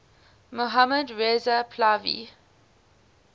mohammad reza pahlavi